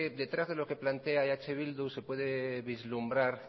detrás de lo que plantea eh bildu se puede vislumbrar